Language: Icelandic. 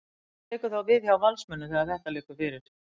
Hvað tekur þá við hjá Valsmönnum þegar að þetta liggur fyrir?